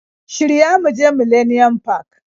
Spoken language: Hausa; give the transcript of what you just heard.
Shirya mu je millenium park